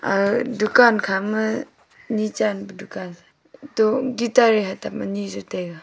ag dukan khama ni chan pe dukan se to guitar ye hatam ani jau taiga.